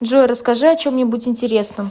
джой расскажи о чем нибудь интересном